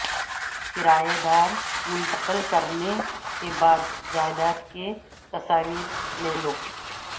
کرایہ دار منتقل کرنے کے بعد جائیداد کی تصاویر لے لو